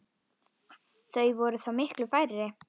Þau væru þá miklu færri.